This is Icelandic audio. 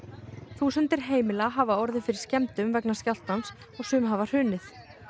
þúsundir heimila hafa orðið fyrir skemmdum vegna skjálftans og sum hafa hrunið